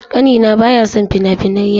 Ƙanina baya son fina-finan yawo.